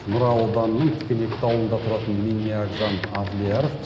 нұра ауданының тікенекті ауылында тұратын минниагзам авлияров